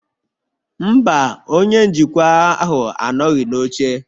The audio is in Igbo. Mba, Onye njikwa ahụ anọghị n'oche